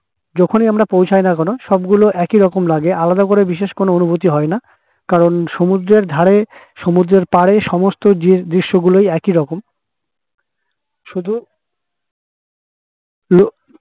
যখন এ আমরা পৌঁছায় না কেন সব গুলো একইরকম লাগে আলাদা করে বিশেষ কোনো অনুভূতি হয় না কারণ সমুদ্রের ধরে সমুদ্রের পারে সমস্ত দৃশ দৃশ্যগুলোই একই রকম শুধু